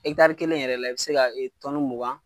kelen yɛrɛ la , i be se ka mugan